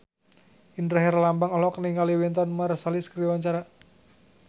Indra Herlambang olohok ningali Wynton Marsalis keur diwawancara